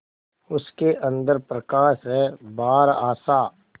उसके अंदर प्रकाश है बाहर आशा